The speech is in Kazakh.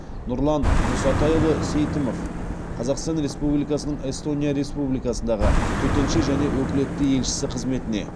нұрлан мұсатайұлы сейтімов қазақстан республикасының эстония республикасындағы төтенше және өкілетті елшісі қызметіне